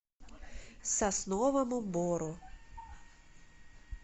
сосновому бору